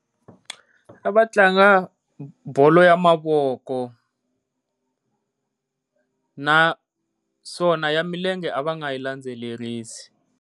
A va tlanga bolo ya mavoko, naswona ya milenge a va nga yi landzelerisi.